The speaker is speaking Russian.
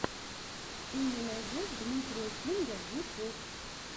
ты мне найдешь дмитрия кинга ютюб